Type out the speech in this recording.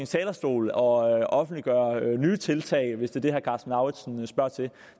talerstol og offentliggøre nye tiltag hvis det er det herre karsten lauritzen spørger til